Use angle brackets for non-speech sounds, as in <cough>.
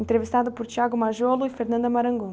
Entrevistado por <unintelligible> e. <unintelligible>